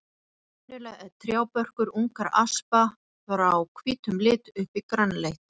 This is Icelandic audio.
Venjulega er trjábörkur ungra aspa frá hvítum lit upp í grænleitt.